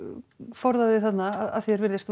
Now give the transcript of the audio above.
forðaði þarna að því er virðist